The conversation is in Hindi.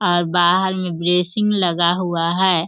और बाहार में ब्रेसिंग लगा हुआ है।